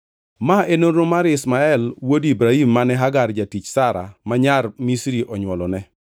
Ma e nonro mar Ishmael wuod Ibrahim mane Hagar jatich Sara ma nyar Misri onywolone.